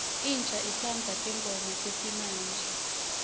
insha itsandza tingoma tesimamje